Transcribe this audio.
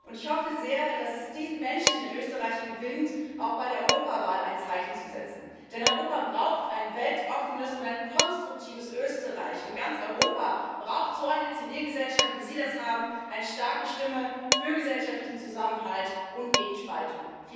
Und ich hoffe sehr, dass es diesen Menschen in Österreich gelingt, auch bei der Europawahl ein Zeichen zu setzen, denn Europa braucht ein weltoffenes und ein konstruktives Österreich, und ganz Europa braucht so eine Zivilgesellschaft, wie Sie sie haben eine starke Stimme für gesellschaftlichen Zusammenhalt und gegen Spaltung.